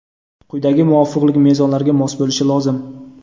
quyidagi muvofiqlik mezonlariga mos bo‘lishi lozim:.